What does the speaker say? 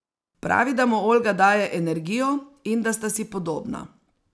Pravi, da mu Olga daje energijo in da sta si podobna.